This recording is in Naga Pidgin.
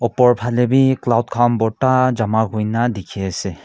opor phale bhi cloud khan borta jama kori kina diki ase.